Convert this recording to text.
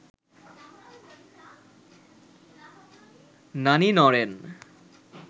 নানি নড়েন